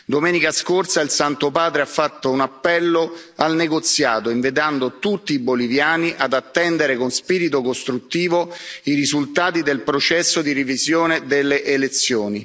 Domenica scorsa il Santo Padre ha fatto un appello al negoziato invitando tutti i boliviani ad attendere con spirito costruttivo i risultati del processo di revisione delle elezioni.